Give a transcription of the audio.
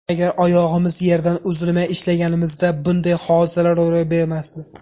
Agar oyog‘imiz yerdan uzilmay ishlaganimizda, bunday hodisalar ro‘y bermasdi.